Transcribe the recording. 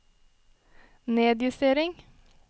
nedjustering